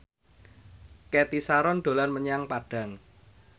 Cathy Sharon dolan menyang Padang